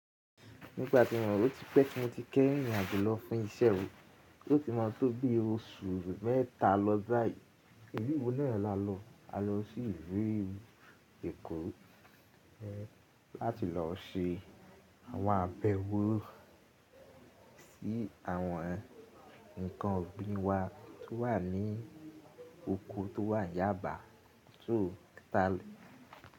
Nígbà tí mo rò oti pẹ ti moti kẹ́yìn ìrìn àjò lọ fún iṣẹ́ o, yó ti mọ̀ tó bi oṣù mẹ́ta lọ báyìí. Ni ìlú náà la lọ? A lọ sí ìlú Èkó láti lọ se àwọn àbẹ̀wò sí àwọn nǹkan ọ̀gbìn wa tó wà ní oko tó wàn Yáàbá, so tal.